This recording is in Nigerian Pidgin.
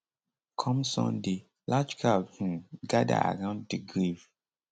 come sunday large crowd um gada around di grave